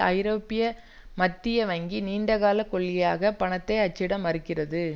ஐரோப்பிய மத்திய வங்கி நீண்ட கால கொள்கையாக பணத்தை அச்சிட மறுக்கிறது